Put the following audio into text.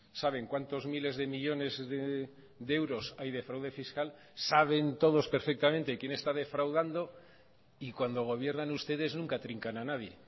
saben cuántos miles de millónes de euros hay de fraude fiscal saben todos perfectamente quién está defraudando y cuando gobiernan ustedes nunca trincan a nadie